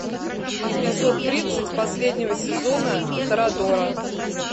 эпизод тридцать последнего сезона торадора